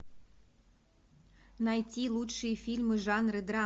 найти лучшие фильмы жанра драма